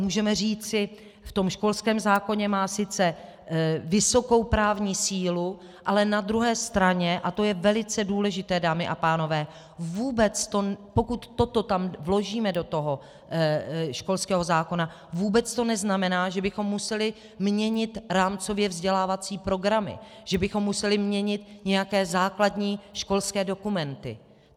Můžeme říci, v tom školském zákoně má sice vysokou právní sílu, ale na druhé straně, a to je velice důležité, dámy a pánové, pokud toto tam vložíme do toho školského zákona, vůbec to neznamená, že bychom museli měnit rámcově vzdělávací programy, že bychom museli měnit nějaké základní školské dokumenty.